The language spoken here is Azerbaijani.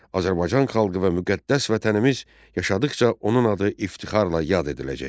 Azərbaycan xalqı və müqəddəs vətənimiz yaşadıqca onun adı iftixarla yad ediləcək.